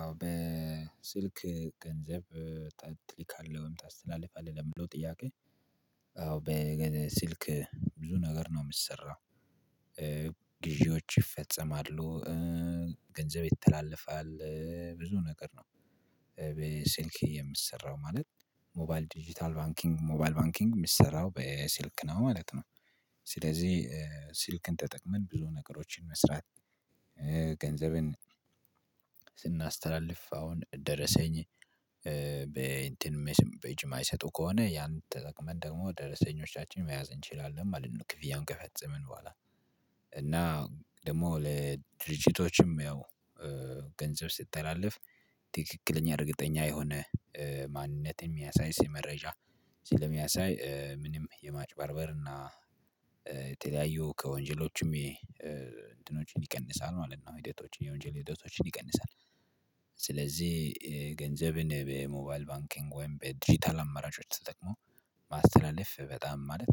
አዎ በስልክ ገንዘብ ትልካለህ ወይም ታስተላልፋለህ ለምለው ጥያቄ በገንዘብ ስልክ ብዙ ነገር ነው የምትሰራው። ግዢዎች ይፈጸማሉ ገንዘብ ይተላለፋል እ ብዙ ነገር ነው። በሲልክ የምሰራው ማለት ሞባይል ዲጂታል ባንኪንግ ሞባይል ባንኪንግ የሚሰራው በሲልክ ነው ማለት ነው። ስለዚህ ስልክን ተጠቅመን ብዙ ነገሮችን መስራት። ገንዘብን ስናስተላልፍ አሁን ደረሰኝ በእንትንም በጅም ማይሰጡ ከሆነ ያን ተጠቅመን ደግሞ ደረሰኞቻችን መያዝ እንችላለን ማለት ነው። ክፍያ እንቀፈጽምን በኋላ እና ደግሞ ለድርጅቶችም ያው ገንዘብ ስተላለፍ ትክክለኛ እርግጠኛ የሆነ ማንነት የሚያሳይ ስለ መረጃ ስለሚያሳይ ምንም የማጭባርበርና የተለያዩ ከወንጀሎቹም ይቀንሳል ማለት ነው የወንጀል ህይወቶችን ይቀንሳል። ገንዘብን በሞባይል ባንኪንግ ወይም በዲጂታል አማራጭ ውስጥ ተጠቅሞ ማስተላለፍ በጣም ማለት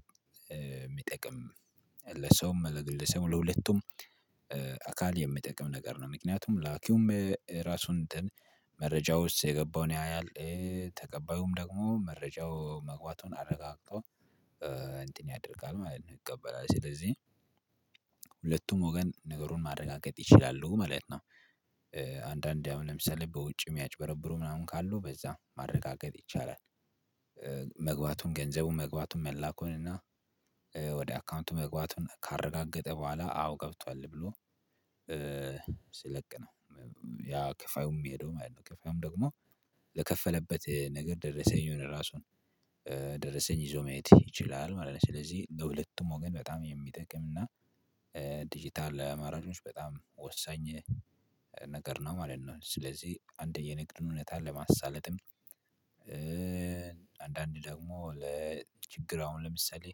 የሚጠቅም ለሰውም ለግለሰቡም ለሁለቱም አካል የሚጠቅም ነገር ነው። ምክንያቱም ላኪውም ራሱን እንትን መረጃው ውስጥ የገባውን ያያል። ተቀባዩም ደግሞ መረጃው መግባቱን አረጋግጦ እንትን ያደርጋል ማለት ነው ይቀበላል። ስለዚህ ሁለቱም ወገን ነገሩን ማረጋገጥ ይችላሉ ማለት ነው። አንዳንዴ አሁን ለምሳሌ በውጭ የሚያጭበረብሩ ምናምን ካሉ በዛ ማረጋገጥ ይቻላል። መግባቱን ገንዘቡን መግባቱን መላኩን እና ወደ አካውንቱ መግባቱን ካረጋገጠ በኋላ አዎ ገብቷል ብሎ ኧ ስለቅ ነው ያ ከፋዩም የሚሄደው ማለት ነው። ከፋዩም ደግሞ ለከፈለበት ነገር ደረሰኝ የሆነ ራሱን ኧ ደረሰኝ ይዞ መሄድ ይችላል ማለት ነው። ስለዚህ ለሁለቱም ወገን በጣም የሚጠቅም እና ዲጂታል መራጮች በጣም ወሳኝ ነገር ነው ማለት ነው። ስለዚህ አንድ የንግድ እውነት ለማሳለጥም አንዳንድ ደግሞ ለችግር አሁን ለምሳሌ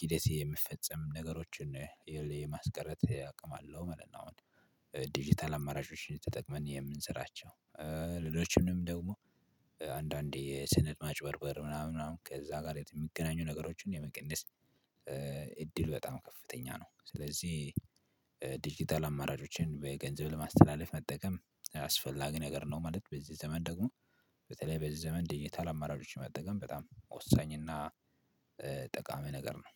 ኪደት የምፈጸም ነገሮችን የማስቀረት አቅም አለው ማለት ነው። ዲጂታል አማራጮችን ተጠቅመን የምንሰራቸው ሌሎችንም ደግሞ አንዳንዴ የስነድ ማጭበርበር ምናምን ከዛ ጋር የሚገናኙ ነገሮችን የመቀነስ እድል በጣም ከፍተኛ ነው። ስለዚህ ዲጂታል አማራጮችን በገንዘብ ለማስተላለፍ መጠቀም አስፈላጊ ነገር ነው ማለት በዚህ ዘመን ደግሞ በተለይ በዚህ ዘመን ድጅታል አማራጮችን መጠቀም በጣም ወሳኝ እና ጠቃሚ ነገር ነው